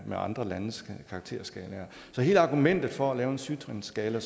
med andre landes karakterskalaer så hele argumentet for at lave en syv trinsskala